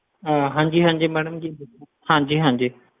ਅਹ ਹਾਂਜੀ ਹਾਂਜੀ madam ਦੱਸੋ, ਹਾਂਜੀ ਹਾਂਜੀ।